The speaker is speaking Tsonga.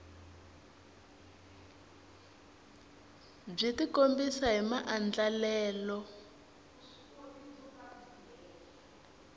byi tikombisa hi maandlalelo ya